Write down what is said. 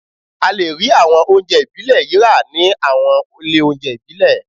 A lè rí àwọn oúnjẹ ìbílẹ̀ yìí rà ní àwọn ilé oúnjẹ ìbílẹ̀